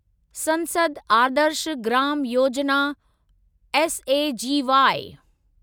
संसद आदर्श ग्राम योजना एसएजीवाई